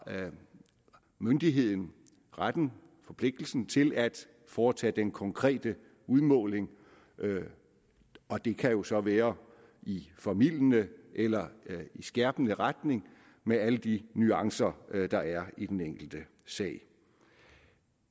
myndigheden retten og forpligtelsen til at foretage den konkrete udmåling og det kan jo så være i formildende eller i skærpende retning med alle de nuancer der er i den enkelte sag